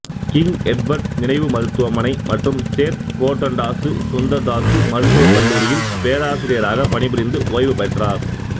king Edward நினைவு மருத்துவமனை மற்றும் சேத் கோர்தண்டாசு சுந்தர்தாசு மருத்துவக் கல்லூரியில் பேராசிரியராகப் பணிபுரிந்து ஓய்வு பெற்றார்